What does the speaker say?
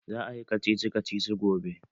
Za ayi kacici kacici gobe?